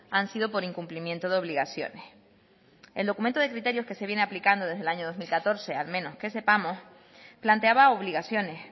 han sido por incumplimiento de obligaciones el documento de criterios que se viene aplicando desde el año dos mil catorce al menos que sepamos planteaba obligaciones